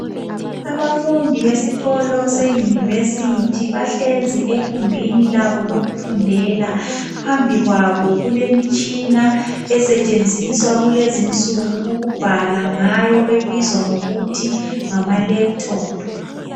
Abafundi besikolo se university bahlezi ekhumbini labo lokufundela. Phambikwalo kulemitshina esetshenziswa kulezinsuku, ukubhala ngayo ebizwa ngokuthi ngama Laptop.